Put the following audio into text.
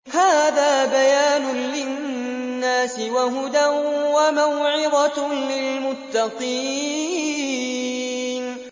هَٰذَا بَيَانٌ لِّلنَّاسِ وَهُدًى وَمَوْعِظَةٌ لِّلْمُتَّقِينَ